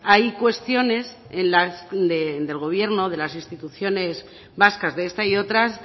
hay cuestiones del gobierno de las instituciones vascas de esta y otras